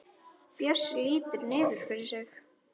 Bjössi lítur niður fyrir sig.